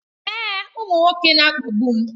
Èè, ụmụ nwoke na-akpagbu m